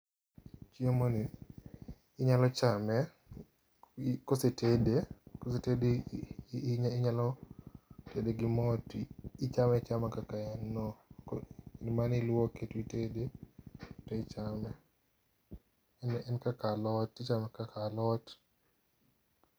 Chiemo ni, inyalo chame kosetede, kosetede inyalo tede gi mo to ichame achama kaka en no. Gima niluoke titede to ichame. En kaka alot, ichame kaka alot.